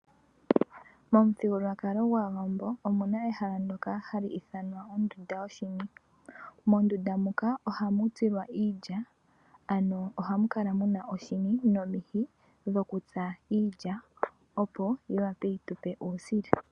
Mothigululwakalo ngwawambo omuna ehala ndjoka halyithanwa ondunda yoshini, mondunda moka oha mutsilwa iilya ohamukala muna oshini nomihi yokutsa iilya opo yiwape yitupe uusila.